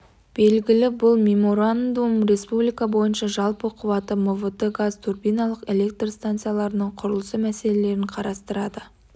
белгілі бұл меморандум республика бойынша жалпы қуаты мвт газ турбиналық электр станцияларының құрылысы мәселелерін қарастырады